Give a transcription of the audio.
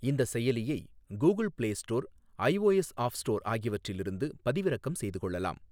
இந்த செயலியை Google Play Store, iOS App Store ஆகியவற்றிலிருந்து பதிவிறக்கம் செய்து கொள்ளலாம்.